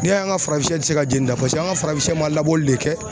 N'i y'an ka farafin ti se ka jɛnni de paseke an ka farafin sɛ ma labɔli de kɛ